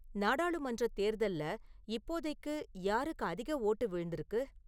நாடாளுமன்றத் தேர்தல்ல இப்போதைக்கு யாருக்கு அதிக ஓட்டு விழுந்துருக்கு